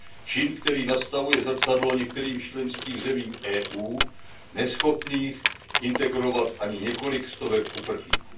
Čin, který nastavuje zrcadlo některým členským zemím EU neschopným integrovat ani několik stovek uprchlíků.